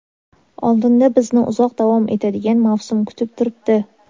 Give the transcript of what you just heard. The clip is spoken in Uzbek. Oldinda bizni uzoq davom etadigan mavsum kutib turibdi.